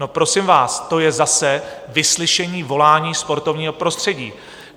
No, prosím vás, to je zase vyslyšení volání sportovního prostředí.